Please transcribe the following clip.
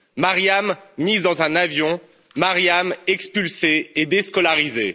Mariam, mise dans un avion, Mariam expulsée et déscolarisée.